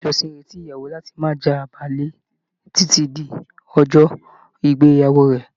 Ìjọsìn n retí ìyàwó láti má j'abale titi di ọjọ ìgbéyàwó rẹ.